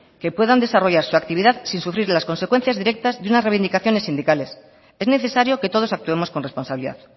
que puedan desarrollar su actividad sin sufrir las consecuencias directas de unas reivindicaciones sindicales es necesario que todos actuemos con responsabilidad